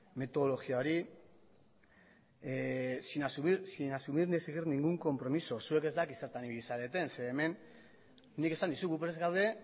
metodologia hori sin asumir ni exigir ningún compromiso zuek ez dakit zertan ibili zareten ze hemen nik esan dizut gu prest gaude